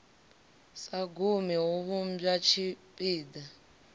sa gumi hu vhumba tshipiḓa